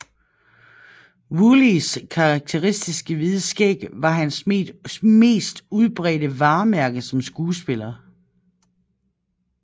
Woolleys karakteristiske hvide skæg var hans mest udbredte varemærker som skuespiller